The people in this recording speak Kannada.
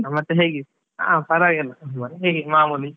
ಮತ್ತೆ ಹೇಗಿ, ಹಾ ಪರವಾಗಿಲ್ಲ ಮತ್ತೆ ಹೀಗೆ ಮಾಮೂಲಿ.